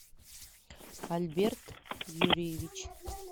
альберт юрьевич